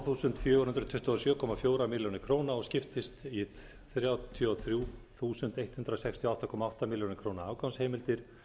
þúsund fjögur hundruð tuttugu og sjö komma fjórum milljónum og skiptist í þrjátíu og þrjú þúsund hundrað sextíu og átta komma átta milljónir afgangsheimildir